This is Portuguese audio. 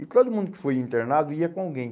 E todo mundo que foi internado ia com alguém.